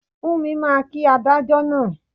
Fúnmi máa kí adájọ́ náà